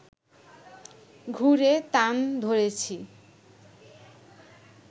ঘুরে তান ধরেছি